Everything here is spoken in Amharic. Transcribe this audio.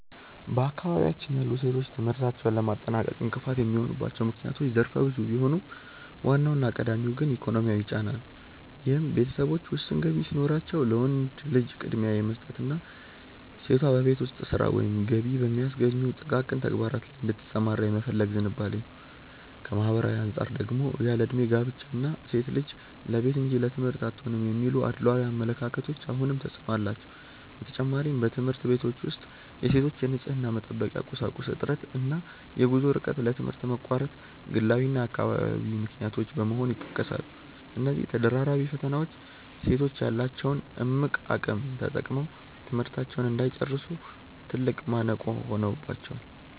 በአካባቢያችን ያሉ ሴቶች ትምህርታቸውን ለማጠናቀቅ እንቅፋት የሚሆኑባቸው ምክንያቶች ዘርፈ ብዙ ቢሆኑም፣ ዋናውና ቀዳሚው ግን ኢኮኖሚያዊ ጫና ነው፤ ይህም ቤተሰቦች ውስን ገቢ ሲኖራቸው ለወንድ ልጅ ቅድሚያ የመስጠትና ሴቷ በቤት ውስጥ ሥራ ወይም ገቢ በሚያስገኙ ጥቃቅን ተግባራት ላይ እንድትሰማራ የመፈለግ ዝንባሌ ነው። ከማኅበራዊ አንጻር ደግሞ ያለዕድሜ ጋብቻ እና "ሴት ልጅ ለቤት እንጂ ለትምህርት አትሆንም" የሚሉ አድሏዊ አመለካከቶች አሁንም ተፅዕኖ አላቸው። በተጨማሪም፣ በትምህርት ቤቶች ውስጥ የሴቶች የንፅህና መጠበቂያ ቁሳቁስ እጥረት እና የጉዞ ርቀት ለትምህርት መቋረጥ ግላዊና አካባቢያዊ ምክንያቶች በመሆን ይጠቀሳሉ። እነዚህ ተደራራቢ ፈተናዎች ሴቶች ያላቸውን እምቅ አቅም ተጠቅመው ትምህርታቸውን እንዳይጨርሱ ትልቅ ማነቆ ሆነውባቸዋል።